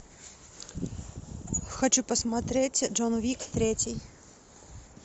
хочу посмотреть джон уик третий